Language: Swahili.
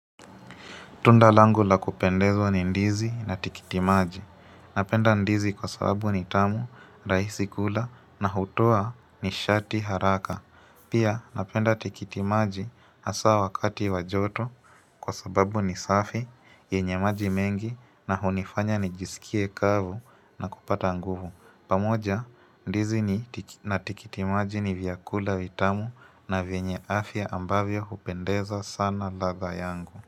Tundalangu la kupendezwa ni ndizi na tikitimaji. Napenda ndizi kwa sababu ni tamu, rahisi kula na hutoa ni shati haraka. Pia napenda tikitimaji hasa wakati wajoto kwa sababu ni safi, yenye maji mengi na hunifanya nijisikie kavu na kupata nguvu. Pamoja ndizi ni na tikitimaji ni vyakula vitamu na vyenye afya ambavyo hupendeza sana ladha yangu.